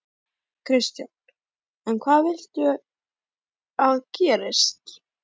Kristján: En hvað viltu að gerist?